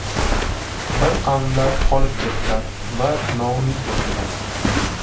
Bir qavmlar qolib ketdilar va noumid bo‘ldilar.